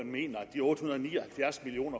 de otte hundrede og ni og halvfjerds million